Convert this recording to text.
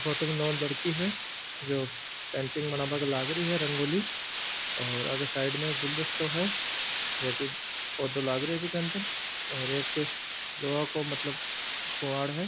फोटो मे नो लड़की है जो पेंटिंग बनाबाने लागरी है रंगोली ओर ओके साइड में एक गुलदस्तो है जो की पौधा लागरिया है बिका अदर और एक लोहे मतलब किवाड़ है।